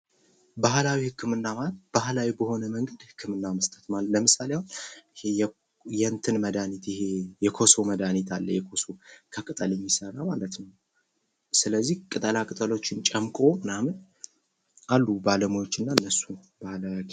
ባህላዊ ሕክምና ማለት ባህላዊ በሆነ መንገድ ሕክምና መስጠት ነው::ለምሳሌ አሁን የእንትን መድሃኒት የኮሶ መድሃኒት አለ የኮሶ ከቅጠል የሚሰራ ማለት ነው:: ስለዚህ ቅጠላቅጠሎችን ምናምን ጨምቆ አሉ ባለሙያዎች እና እነሱ ባህላዊ ሐኪሞች::